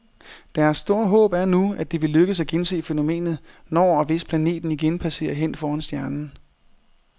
Deres store håb er nu, at det vil lykkes at gense fænomenet, når og hvis planeten igen passerer hen foran stjernen.